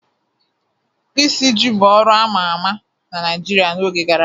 Isiji bụ ọrụ a ma ama na Naijiria n'oge gara aga.